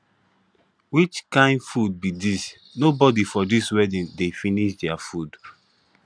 which kin food be dis nobody for dis wedding dey finish their food